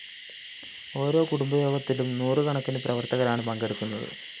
ഓരോ കുടുംബയോഗത്തിലും നൂറുകണക്കിന് പ്രവര്‍ത്തകരാണ് പങ്കെടുക്കുന്നത്